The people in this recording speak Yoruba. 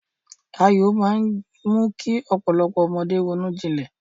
Ayò máa mú kí ọpọlọ ọmọdé ronújinlè